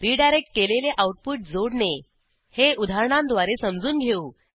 redirect केलेले output जोडणे हे उदाहरणांद्वारे समजून घेऊ